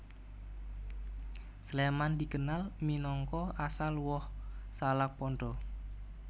Sléman dikenal minangka asal woh salak pondoh